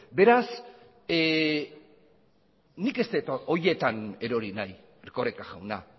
beraz nik ez dut horietan erori nahi erkoreka jauna